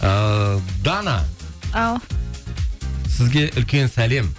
ыыы дана ау сізге үлкен сәлем